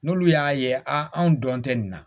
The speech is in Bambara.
N'olu y'a ye a anw dɔn tɛ nin na